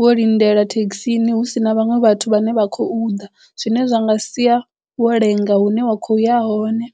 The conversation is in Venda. wo lindela thekhisini hu si na vhaṅwe vhathu vhane vha khou ḓa zwine zwa nga sia wo lenga hune wa kho ya hone.